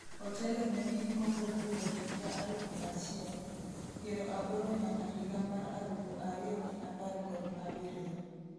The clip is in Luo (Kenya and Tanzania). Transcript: otelo ne piny Kongo kowuok higa alufu achiel ,piero aboro nyaka higa mar alufu ariyo gi apar kod abiriyo